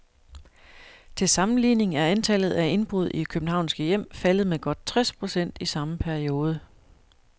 Til sammenligning er antallet af indbrud i københavnske hjem faldet med godt tres procent i samme periode.